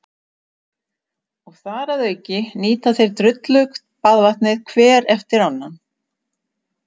Og þar að auki nýta þeir drullugt baðvatnið hver eftir annan.